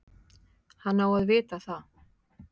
Hann á að vita það.